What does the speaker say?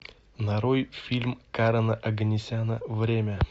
нарой фильм карена оганесяна время